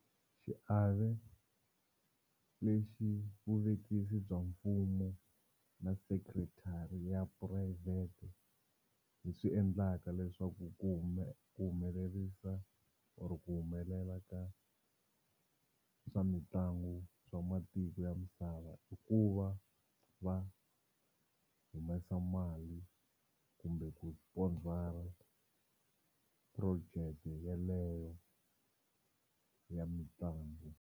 Xiave lexi vuvekisi bya mfumo na secretary ya purayivhete hi swi endlaka leswaku ku ku humelerisa or ku humelela ka swa mitlangu swa matiko ya misava i ku va va humesa mali kumbe ku sponsor-a project yeleyo ya mitlangu.